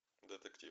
детектив